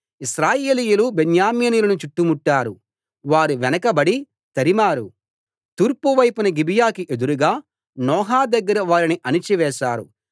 ఇశ్రాయేలీయులు బెన్యామీనీయులను చుట్టుముట్టారు వారి వెనకబడి తరిమారు తూర్పు వైపున గిబియాకి ఎదురుగా నోహా దగ్గర వారిని అణచి వేశారు